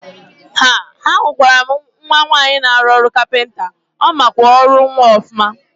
Haa! Ahụkwaram nwaanyị na arụ ọrụ kapịnta, ọmakwa ọrụ nwa ọfụma.